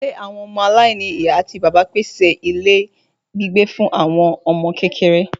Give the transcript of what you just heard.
Ilé àwọn ọmọ aláìní ìyá àti bàbá pèsè ilé gbígbé fún àwọn ọmọ kékeré